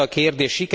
Ez a kérdés.